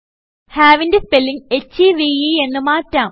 have ന്റെ spelling ഹെവ് എന്ന് മാറ്റാം